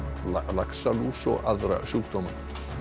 laxalús og aðra sjúkdóma